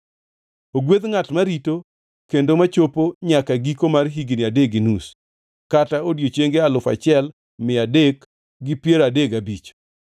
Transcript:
Ogwedh ngʼat marito kendo machopo nyaka giko mar higni adek gi nus kata odiechienge alufu achiel mia adek gi piero adek gabich (1,335).